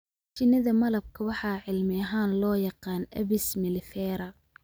Shinnida malabka waxaa cilmi ahaan loo yaqaan Apis mellifera.